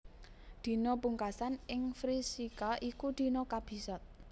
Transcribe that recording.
Dina pungkasan ing Vrishika iku dina kabisat